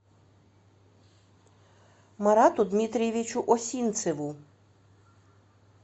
марату дмитриевичу осинцеву